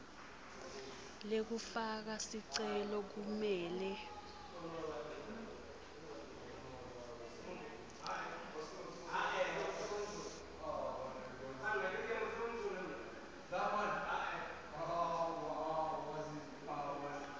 lekufaka sicelo kumele